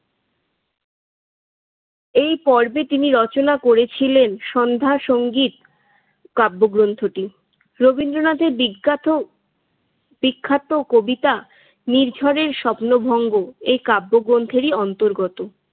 এই পর্বে তিনি রচনা করেছিলেন সন্ধ্যা সংগত কাব্যগ্রন্থটি। রবীন্দ্রনাথের বিখ্যাত বিখ্যাত কবিতা নির্ঝরের স্বপ্নভঙ্গ এ কাব্যগ্রন্থেরই অন্তর্গত।